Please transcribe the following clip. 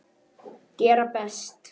Gera best.